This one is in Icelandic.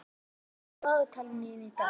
Engilrós, hvað er í dagatalinu í dag?